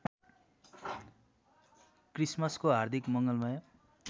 क्रिसमसको हार्दिक मङ्गलमय